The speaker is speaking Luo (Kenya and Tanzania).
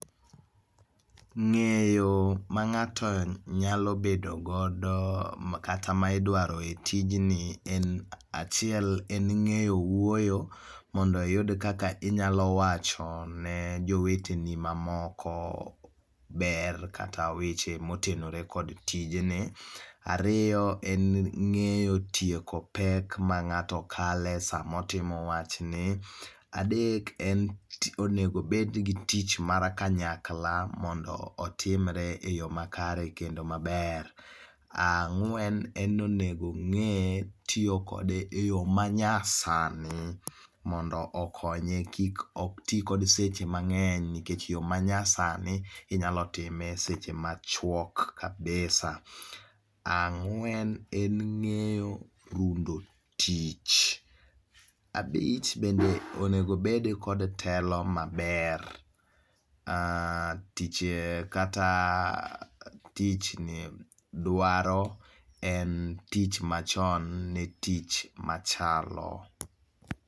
Ng'eyo ma ng'ato nyalo bedo godo kata ma idwaro e tijni en achiel en ng'eyo wuoyo mondo iyud kaka inyalo wacho ne joweteni mamoko ber kata weche motenore kod tijni. Ariyo en ng'eyo tieko pek ma ng'ato kale sama otimo wach ni. Adek, onego obed gi tich mar kanyakla mondo otimre eyo makare kendo maber. Ang'wen en ni onego ong'e tiyo kode eyo ma nyasani mondo okonye kik oti kod seche mang'eny. Nikech eyo manyasani, inyalo time eseche machuok kabisa. Ang'wen en ng'eyo rundo tich. Abich bende onego obed kod telo maber. Tich kata eeh dwa dwaro en tich machon ne tich machalo.